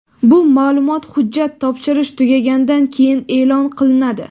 Bu ma’lumot hujjat topshirish tugagandan keyin e’lon qilinadi.